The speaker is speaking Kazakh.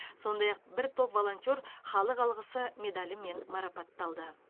сондай ақ бір топ волонтер халық алғысы медалімен марапатталды